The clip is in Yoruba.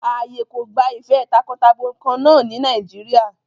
Ààyè kò gba ìfẹ́ takọtabo kan náà ní Nàìjíríà.